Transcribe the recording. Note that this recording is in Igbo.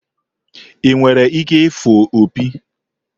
Ị nwere ike ịfụ opi?